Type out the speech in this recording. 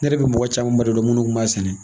Ne yɛrɛ bi mɔgɔ camanba de dɔn munnu kun b'a sɛnɛ